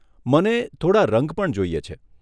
મને થોડાં રંગ પણ જોઈએ છે.